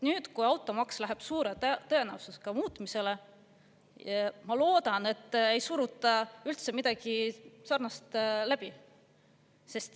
Nüüd, kui automaks läheb suure tõenäosusega muutmisele, ma loodan, et ei suruta midagi sarnast läbi.